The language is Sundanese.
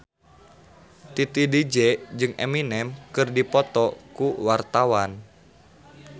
Titi DJ jeung Eminem keur dipoto ku wartawan